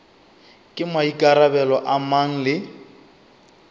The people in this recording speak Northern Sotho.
ke maikarabelo a mang le